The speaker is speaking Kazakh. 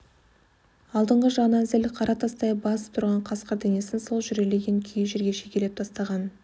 алдыңғы жағынан зіл қара тастай басып тұрған қасқыр денесін сол жүрелеген күйі жерге шегелеп тастаған